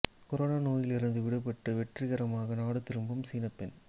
corona நோயிலிருந்து விடுபட்டு வெற்றிகரமாக நாடு திரும்பும் சீன பெண்